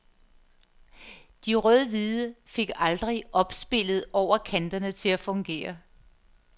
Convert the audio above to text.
De rødhvide fik aldrig opspillet over kanterne til at fungere.